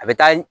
A bɛ taa